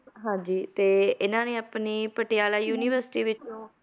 ਹਾਂਜੀ ਤੇ ਇਹਨਾਂ ਨੇ ਆਪਣੀ ਪਟਿਆਲਾ university ਵਿੱਚੋਂ,